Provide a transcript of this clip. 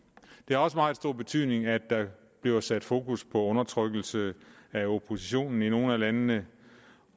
det har også meget stor betydning at der bliver sat fokus på undertrykkelse af oppositionen i nogle af landene